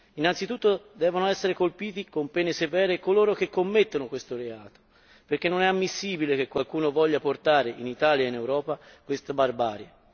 Innanzitutto devono essere colpiti con pene severe coloro che commettono questo reato, perché non è ammissibile che qualcuno voglia portare in Italia e in Europa questa barbarie.